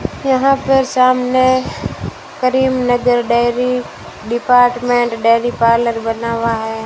यहां पर सामने Karimnagar dairy department dairy parlour बना हुआ है।